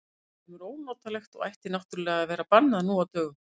Það er fremur ónotalegt og ætti náttúrlega að vera bannað nú á dögum.